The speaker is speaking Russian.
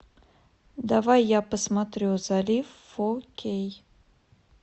давай я посмотрю залив фо кей